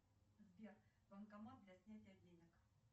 джой какие виды